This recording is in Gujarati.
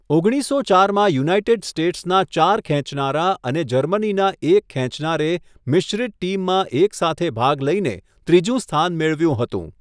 ઓગણીસસો ચારમાં યુનાઇટેડ સ્ટેટ્સના ચાર ખેંચનારા અને જર્મનીના એક ખેંચનારે મિશ્રિત ટીમમાં એકસાથે ભાગ લઈને ત્રીજું સ્થાન મેળવ્યું હતું.